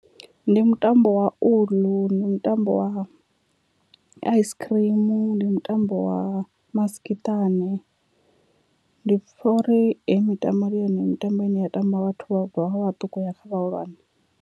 Ndi mutambo wa uḽu, ndi mutambo wa ice cream, ndi mutambo wa masikiṱani, ndi pfha uri heyi mitambo ndi yone mitambo ine ya tambiwa vhathu u bva vha vhaṱuku uya kha vhahulwane.